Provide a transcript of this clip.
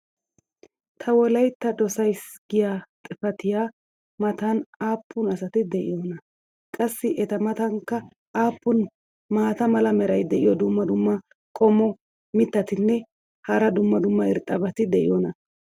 Ta wolaytta dosays giya xifattiya matan aappun asati de'iyoonaa? qassi eta matankka aappun maata mala meray diyo dumma dumma qommo mitattinne hara dumma dumma irxxabati de'iyoonaa?